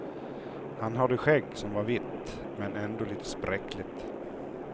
Han hade skägg som var vitt, men ändå lite spräckligt.